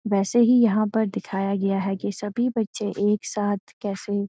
वैसे ही यहाँ पर दिखाया गया है कि सभी बच्‍चे एक साथ कैसे --